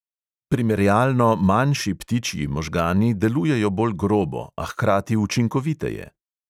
Primerjalno manjši ptičji možgani delujejo bolj grobo, a hkrati učinkoviteje.